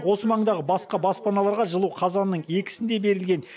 осы маңдағы басқа баспаналарға жылу қазанның екісінде берілген